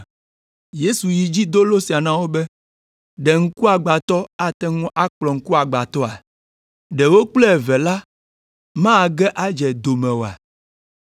Yesu yi edzi do lo sia na wo be, “Ɖe ŋkugbãtɔ ate ŋu akplɔ ŋkuagbãtɔa? Ɖe wo kple eve la mage adze do me oa?